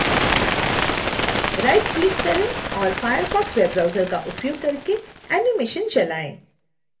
right click करें और firefox web browser का उपयोग करके एनीमेशन चलाएं